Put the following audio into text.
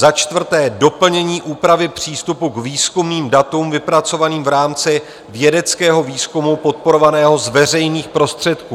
Za čtvrté, doplnění úpravy přístupu k výzkumným datům vypracovaným v rámci vědeckého výzkumu podporovaného z veřejných prostředků.